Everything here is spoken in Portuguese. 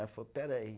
Ela falou, espera aí.